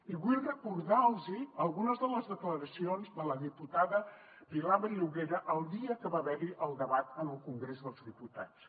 i vull recordar los algunes de les declaracions de la diputada pilar vallugera el dia que va haver hi el debat al congrés dels diputats